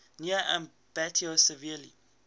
near ambato severely